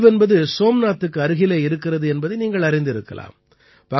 தீவ் என்பது சோம்நாத்துக்கு அருகே இருக்கிறது என்பதை நீங்கள் அறிந்திருக்கலாம்